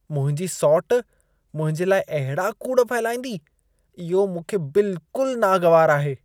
मुंहिंजी सौटि मुंहिंजे लाइ अहिड़ा कूड़ फहिलाईंदी। इहो मूंखे बिल्कुल नागवारु आहे।